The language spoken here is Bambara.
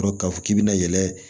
Sɔrɔ k'a fɔ k'i bɛna yɛlɛ